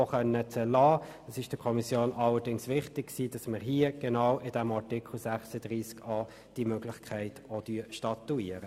Doch war es der Kommission wichtig, genau hier, in diesem Artikel 36a, diese Möglichkeit zu statuieren.